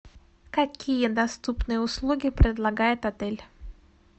какие доступные услуги предлагает отель